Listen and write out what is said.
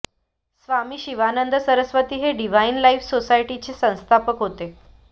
स्वामी शिवानंद सरस्वती हे Divine Life Society चे ते संस्थापक होते